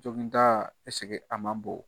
Jɔginda a man bon